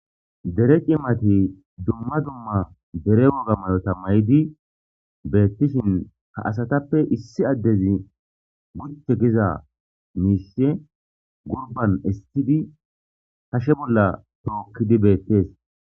Dere cimati dumma dumma dere woga mayo tammayidi beettishin ha asatappe issi addezi guchche giza miisshe gurban issidi kashe bolla tookkidi beettees.